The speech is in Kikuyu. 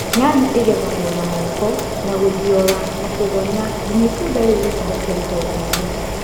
Nyanya igethago na moko na gũthiora na kũgonya nginya itunda rĩu rĩkohoke rũhongeinĩ